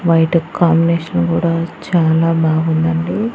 White కు combination కూడా చాలా బాగుందండి.